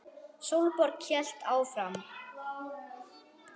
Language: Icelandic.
Sólborg hélt áfram.